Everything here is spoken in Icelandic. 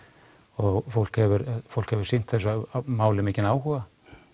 og fólk hefur fólk hefur sýnt þessu máli mikinn áhuga